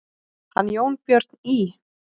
Hann Jónbjörn í